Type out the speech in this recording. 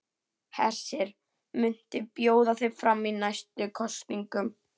Hersir: Muntu bjóða þig fram í næstu kosningum?